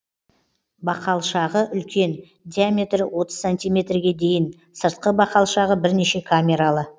бақалшағы үлкен диаметрі отыз сантиметрге дейін сыртқы бақалшағы бірнеше камералы